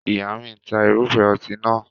Ìyá mi ń ta irúfẹ́ ọtí nàá.